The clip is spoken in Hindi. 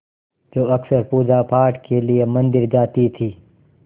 जो अक्सर पूजापाठ के लिए मंदिर जाती थीं